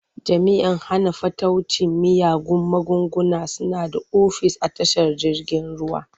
Jami'an hana fataucin miyagun magunguna suna da ofis a tashar jirgin ruwa.